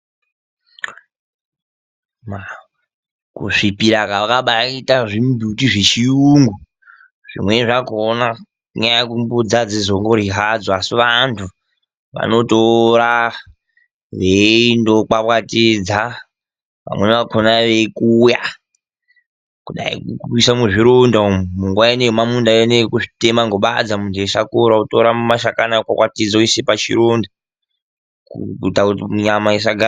Kusvipira kwakabaaite zvimbuti zvechiyungu, zvimweni zvakona inyaya yekuti mbudzi adzozongoryi hadzo asi vantu vanotora veindo kwakwatidza vamweni vakona veikuya, kuisa muzvironda umu, munguwa inoyi yemamunda yekuzvitema ngobadza munhu eisakura otora mashakani okwakwatidza oise pachironda kuita nyama isa gara.....